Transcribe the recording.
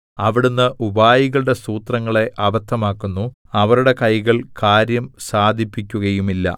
അവിടുന്ന് ഉപായികളുടെ സൂത്രങ്ങളെ അബദ്ധമാക്കുന്നു അവരുടെ കൈകൾ കാര്യം സാധിപ്പിക്കുകയുമില്ല